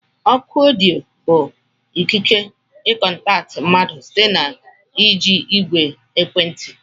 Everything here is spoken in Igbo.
Ọkụ ọdịyo bụ ikike i kontakti mmadụ site n'iji ìgwè ekwentị.